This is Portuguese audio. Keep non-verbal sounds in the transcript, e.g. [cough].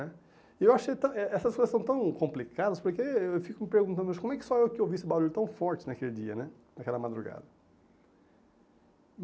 [unintelligible] E eu achei tão eh eh essa situação tão complicada, porque eu fico me perguntando, como é que sou eu que ouvi esse barulho tão forte naquele dia, né, naquela madrugada?